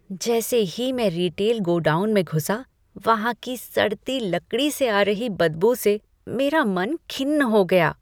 जैसे ही मैं रिटेल गोडाउन में घुसा वहां की सड़ती लकड़ी से आ रही बदबू से मेरा मन खिन्न हो गया।